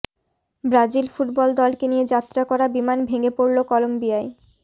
Brazil football দলকে নিয়ে যাত্রা করা বিমান ভেঙে পড়ল কলম্বিয়ায়